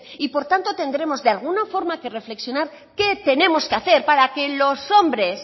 y por tanto tendremos que de alguna forma reflexionar qué tenemos que hacer para que los hombres